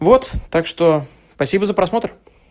вот так что спасибо за просмотр